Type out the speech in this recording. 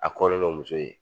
A kɔnlen do muso ye